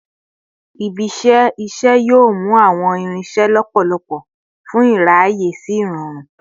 Ibi-iṣẹ iṣẹ yoo mu awọn irinṣẹ lọpọlọpọ fun iraye si irọrun